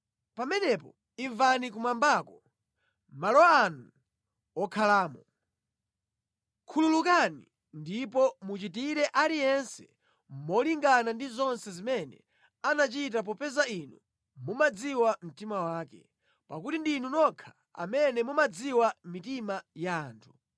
pamenepo imvani kumwambako, malo anu wokhalamo. Khululukani ndipo muchitire aliyense molingana ndi zonse zimene anachita popeza Inu mumadziwa mtima wake, (pakuti ndinu nokha amene mumadziwa mitima ya anthu),